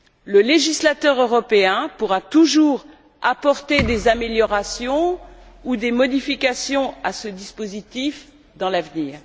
Le législateur européen pourra toujours apporter des améliorations ou des modifications à ce dispositif dans l'avenir.